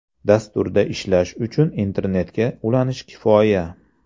Dasturda ishlash uchun internetga ulanish kifoya.